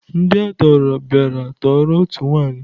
Ndị a tọọrọ bịara tọọrọ otu nwaanyị.